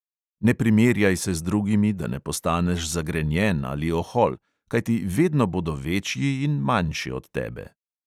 Ne primerjaj se z drugimi, da ne postaneš zagrenjen ali ohol, kajti vedno bodo večji in manjši od tebe.